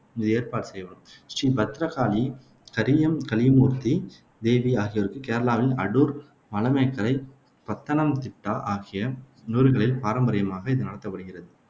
இது ஏற்பாடு செய்யப்படும். ஸ்ரீ பத்ரகாளி, கரியம் கலிமூர்த்தி தேவி ஆகியோருக்கு கேரளாவின் அடூர், மலமேக்கரை, பந்தனம்திட்டா ஆகிய ஊர்களில் பாரம்பரியமாக இது நடத்தப்படுகிறது.